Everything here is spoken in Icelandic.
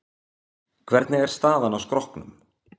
Hvernig er staðan á skrokknum?